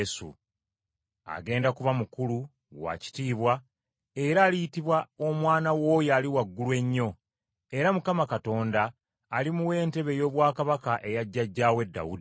Agenda kuba mukulu, wa kitiibwa, era aliyitibwa Omwana w’Oyo Ali Waggulu Ennyo, era Mukama Katonda alimuwa entebe ey’obwakabaka eya jjajjaawe Dawudi.